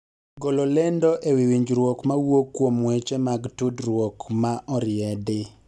golo lendo ewi winjruok mawuok kuom weche mag tudruok ma oriedi